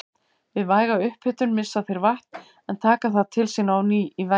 Við væga upphitun missa þeir vatn en taka það til sín á ný í vætu.